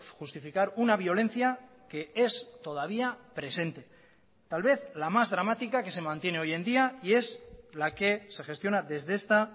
justificar una violencia que es todavía presente tal vez la más dramática que se mantiene hoy en día y es la que se gestiona desde esta